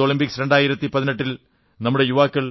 youth Olympics 2018 ൽ നമ്മുടെ യുവാക്കൾ